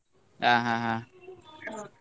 ಹಾ ಹಾ.